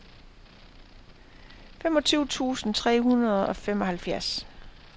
femogtyve tusind tre hundrede og femoghalvfjerds